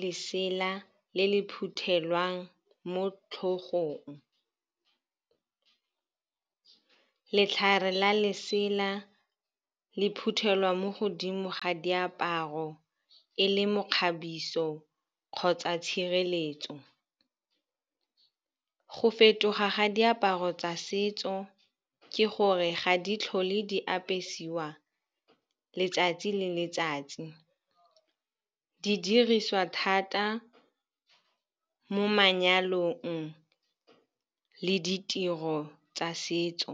lesela le le phuthelwang mo tlhogong. Letlhare la lesela le phuthelwa mo godimo ga diaparo e le mekgabiso kgotsa tshireletso. Go fetoga ga diaparo tsa setso ke gore ga di tlhole di apesiwa letsatsi le letsatsi. Di dirisiwa thata mo manyalong le ditiro tsa setso.